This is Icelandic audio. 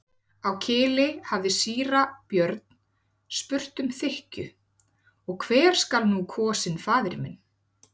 Á Kili hafði síra Björn spurt með þykkju:-Og hver skal nú kosinn faðir minn?